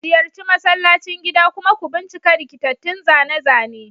Ziyarci masallacin gida kuma ku bincika rikitattun zane-zane.